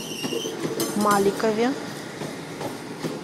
маликове